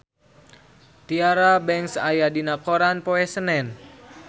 Tyra Banks aya dina koran poe Senen